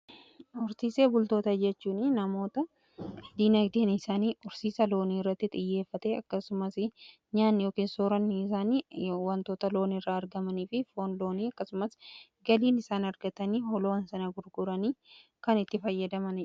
Horsiisee bultoota jechuun namoota diinagdeen isaanii horsiisa loonii irratti xiyyeeffate. Akkasumas nyaanni ykn soorani isaani wantoota loon irraa argamanii fi foon loonii akkasumas galiin isaan argatanii loowwan sana gurguranii kan itti fayyadaman.